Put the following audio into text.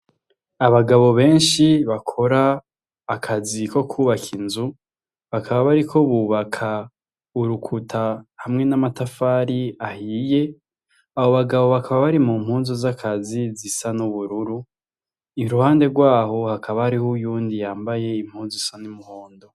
Abagabo benshi bakora akazi ko kubaka inzu, bakaba bariko bubaka urukuta hamwe n'amatafari ahiye, abo bagabo bakaba bari mu mpunzu z'akazi zisa n'ubururu, iruhande rwaho hakaba hariho uwundi yambaye impunzu isa n'umuhondo.